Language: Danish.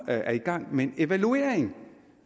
er i gang med en evaluering